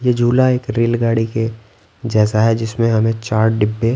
ये झूला एक रेल गाड़ी के जैसा है जिसमें हमें चार डिब्बे--